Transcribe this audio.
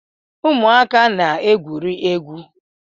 Ụmụaka na-egwuri egwu